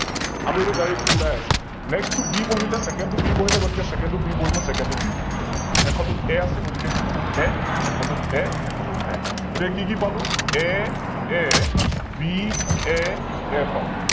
আমি এইতো Directly ওলাই আছে Next টো B বঢিলে Second টো B বঢিলে গতিকে Second তো B বঢিব Second টোত B বঢিলে, শেষৰটোত A আছে গতিকে শেষৰটোত A শেষৰটোত A শেষৰটোত A । গতিকে কি কি পালো AABAA পালো ।